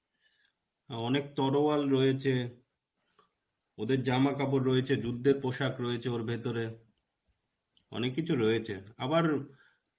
অনেক তরয়াল রয়েছে. ওদের জামাকাপড় রয়েছে, যুদ্ধের পোশাক রয়েছে ওর ভিতরে অনেক কিছু রয়েছে. আবার